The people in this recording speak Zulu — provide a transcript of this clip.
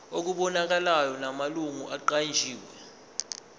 okubonakalayo namalungu aqanjiwe